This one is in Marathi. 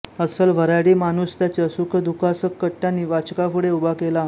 अस्सल वऱ्हाडी माणूसत्याच्या सुख दुखासकट त्यांनी वाचकापुढे उभा केला